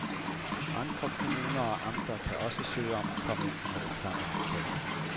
Andre kommuner og amter kan også søge om at komme ind under den samme aftale.